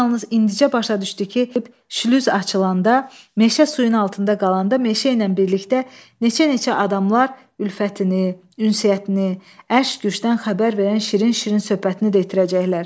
O yalnız indicə başa düşdü ki, şlüz açılanda, meşə suyun altında qalanda, meşə ilə birlikdə neçə-neçə adamlar ülfətini, ünsiyyətini, eşq-gücdən xəbər verən şirin-şirin söhbətini də itirəcəklər.